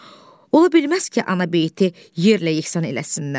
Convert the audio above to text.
Ola bilməz ki, anabeyti yerlə-yesan eləsinlər,